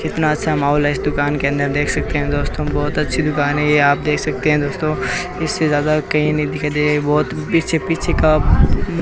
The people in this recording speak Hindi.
कितना अच्छा माहौल है इस दुकान के अंदर देख सकते है दोस्तों बहोत अच्छी दुकान है ये आप देख सकते है दोस्तों इस से ज्यादा कही नहीं दिखाई दे रही है बहोत पीछे-पीछे का म् --